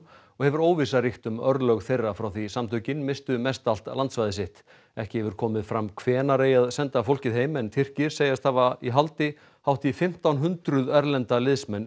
og hefur óvissa ríkt um örlög þeirra frá því að samtökin misstu mestallt landsvæði sitt ekki hefur komið fram hvenær eigi að senda fólkið heim en Tyrkir segjast hafa í haldi hátt í fimmtán hundruð erlenda liðsmenn